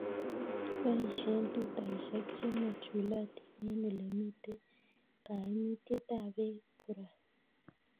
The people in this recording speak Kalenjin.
Kibashe tutaishek che machulotin eng' ole mito kaimutet ab peek korot